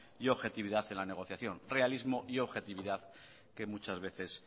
y objetividad en la negociación realismo y objetividad que muchas veces